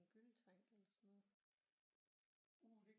En gylletank eller sådan noget